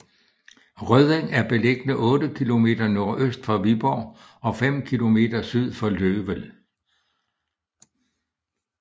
Rødding er beliggende 8 kilometer nordøst for Viborg og fem kilometer syd for Løvel